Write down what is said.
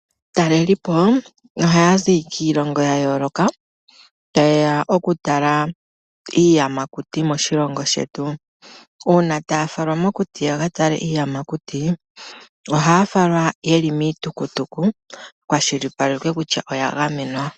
Aatalelipo oha ya zi kiilongo ya yooloka ta yeya okutala iiyamakuti moshilongo shetu uuna taya falwa mokuti ya katale iiyamakuti oha ya falwa ye li miitukutuku kushipalekwe kutya oya gamenwa.